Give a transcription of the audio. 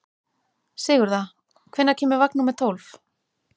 Sigurða, hvenær kemur vagn númer tólf?